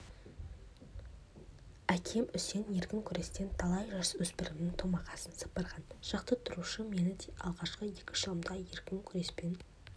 әкем үсен еркін күрестен талай жасөспірімнің томағасын сыпырған жаттықтырушы мен де алғашқы екі жылымда еркін күреспен